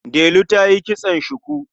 Delu ta yi kitson shuku.